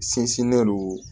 Sinsinnen don